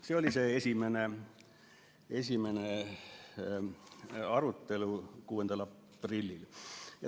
See oli esimene arutelu 6. aprillil.